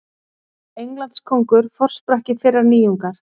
Englandskóngur forsprakki þeirrar nýjungar.